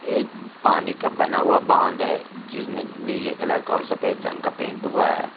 ये एक पानी का बना हुआ बांध है जिसमें नीले कलर का और सफेद रंग का पेंट हुआ है।